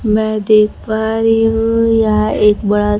मै देख पा रही हूं यहाँ एक बड़ा--